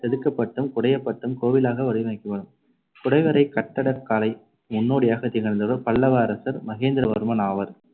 செதுக்கப்பட்டும் குடையப்பட்டும் கோவிலாக வடிவமைக்கப்படும். குடைவரைக் கட்டடக் காலை முன்னோடியாகத் திகழ்ந்தவர் பல்லவ அரசர் மகேந்திரவர்மன் ஆவர்.